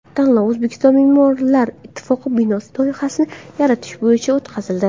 Tanlov O‘zbekiston me’morlar ittifoqi binosi loyihasini yaratish bo‘yicha o‘tkazildi.